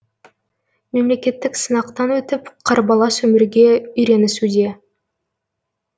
мемлекеттік сынақтан өтіп қарбалас өмірге үйренісуде